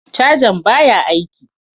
Cajan baya aiki.